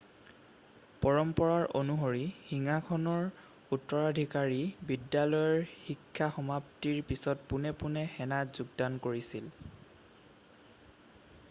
পৰম্পৰা অনুসৰি সিংহাসনৰ উত্তৰাধিকাৰী বিদ্যালয়ৰ শিক্ষা সমাপ্তিৰ পিছত পোনে পোনে সেনাত যোগদান কৰিছিল